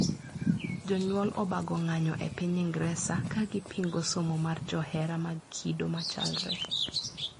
Jonyuol obago ng`anyo e piny Ingresa ka gipingo somo mar johera mag kido machalre.